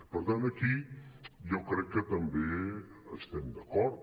per tant aquí jo crec que també hi estem d’acord